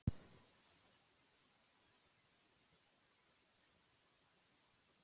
Hvers vegna skyldi hann ekki hafa sætt sig við niðurstöðu Þalesar?